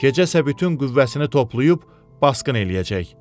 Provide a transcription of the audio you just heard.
Gecə isə bütün qüvvəsini toplayıb, basqın eləyəcək.